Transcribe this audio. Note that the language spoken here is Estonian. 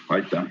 Aitäh!